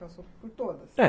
Parece que passou por todas. É.